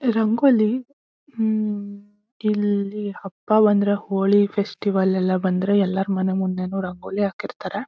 ರಂಗೋಲಿ ಹ್ಮ್ಮ್ಮ್ ಹಬ್ಬ ಒಂದರ ಹೋಳಿ ಫೆಸ್ಟಿವಲ್ ಲೆಲ್ಲ ಬಂದ್ರೆ ಎಲ್ಲರ ಮನೆ ಮುಂದೆನು ರಂಗೋಲಿ ಹಾಕಿರ್ತ್ತಾರೆ.